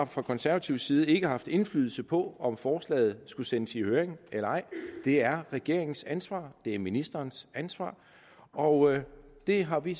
fra konservatives side altså ikke har haft indflydelse på om forslaget skulle sendes i høring eller ej det er regeringens ansvar det er ministerens ansvar og det har vi